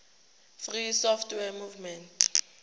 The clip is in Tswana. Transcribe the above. free software movement